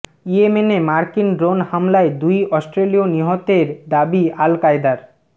ইয়েমেনে মার্কিন ড্রোন হামলায় দুই অস্ট্রেলীয় নিহতের দাবি আল কায়েদার